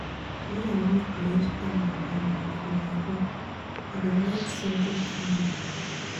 Wen I wan create calm environment for my room, I dey light scented candle.